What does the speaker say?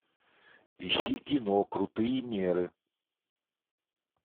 ищи кино крутые меры